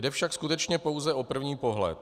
Jde však skutečně pouze o první pohled.